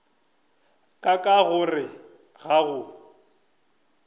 ka ka gore ga go